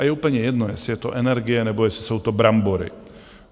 A je úplně jedno, jestli je to energie, nebo jestli jsou to brambory.